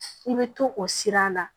I bɛ to o sira la